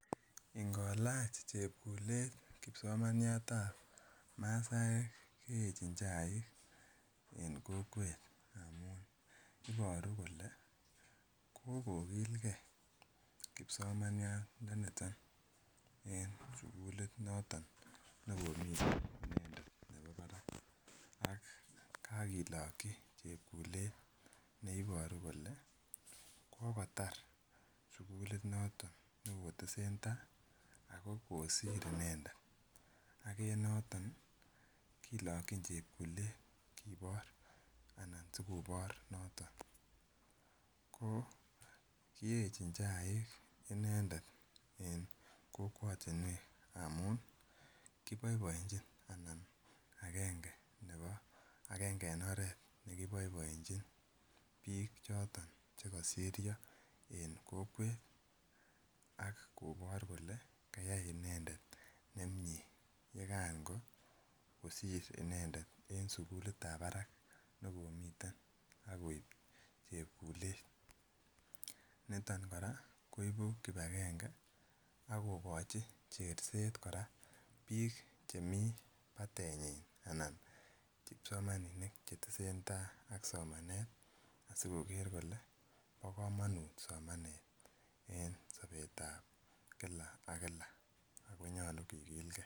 Ingolach chepkulet kipsomaniatab masaek keyechin chaik enn kokwet amun inyoru kole kokokilgee kipsomaniat ndoniton en sukulit noton nekomiten inendet nebo barak ak kakiloki chepkulet neiboru kole kokotar sukulit noton neketesentai Ako kosir inendet ak en noton nii kilokin chepkulet kibore ana sikibor noton ko kiyechin chaik inendet en kokwotunwek amun kiboiboechin amun agenge nebo agenge en oret nekiboiboechin bik choton chekosiryo en kokwet ak kobor kole kayai inendet nemiten yekan ko kosir inendet en sukulitab barak nekomiten akoib chepkulet. Niton koraa koibu kipagenge ak kokochi cherset kora bik chemii payanyin anan kipsomaninik chetesetai somanet asikoker kole bo komonut somenet en sobetab Kila ak Kila Ako nyolu kikilgee.